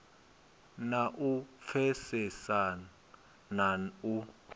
na u pfesesa na u